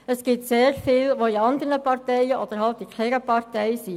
Es gibt sehr viele, die in anderen Parteien oder in keiner Partei sind.